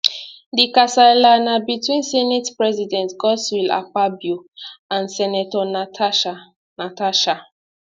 di kasala na between senate president godswill akpabio and senator natasha natasha